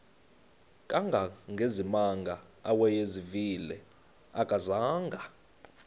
kangangezimanga awayezivile akazanga